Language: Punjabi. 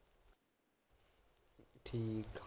ਠੀਕ ਆ